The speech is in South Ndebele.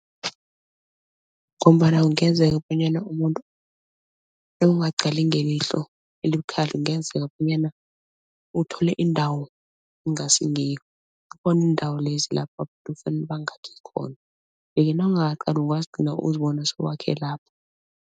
Ngombana kungenzeka bonyana umuntu nawungaqali ngelihlo elibukhali kungenzeka bonyana uthole indawo kungasingiyo iindawo lezi lapho abantu kufanale bangakhi khona yeke nawungakaqali ungazigcina sowakhe lapho.